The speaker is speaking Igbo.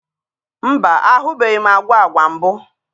Mba, ahụbeghị m agwa agwa mbụ.